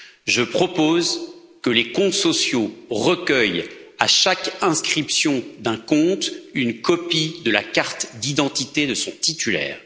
Je propose que les comptes sociaux recueillent, à chaque ouverture d'un compte, une copie de la carte d'identité de son titulaire.